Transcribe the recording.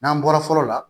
N'an bɔra fɔlɔ la